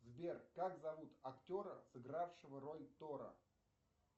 сбер как зовут актера сыгравшего роль тора